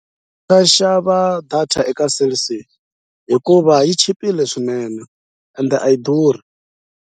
Nga xava data eka Cell C hikuva yi chipile swinene ende a yi durhi.